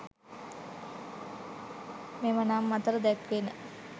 මෙම නම් අතර දැක්වෙන